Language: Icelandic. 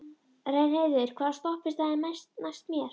Reynheiður, hvaða stoppistöð er næst mér?